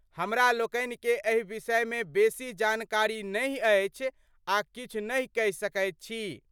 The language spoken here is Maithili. हमरा लोकनि के एहि विषय मे बेसी जानकारी नहि अछि आ किछु नहि कहि सकैत छी।